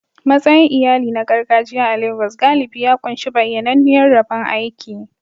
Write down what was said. Matsayin iyali na gargajiya a Legas galibi ya ƙunshi bayyananniyar rabon aiki.